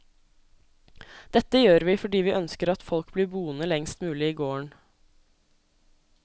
Dette gjør vi fordi vi ønsker at folk blir boende lengst mulig i gården.